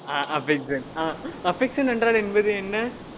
ஆஹ் affection ஆஹ் affection என்றால் என்பது என்ன